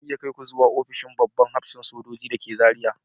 Zan iya kai ku zuwa ofishin babban hafsan soji da ke Zariya